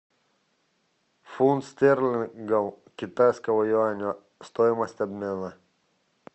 фунт стерлингов к китайскому юаню стоимость обмена